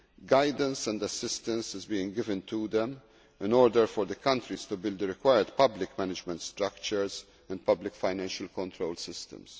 Guidance and assistance is being given to them in order for these countries to build the required public management structures and public financial control systems.